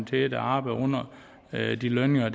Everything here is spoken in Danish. til der arbejder under de lønninger